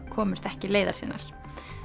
komst ekki leiðar sinnar